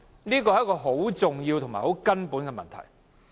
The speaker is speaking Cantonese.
這是很重要也很根本的問題。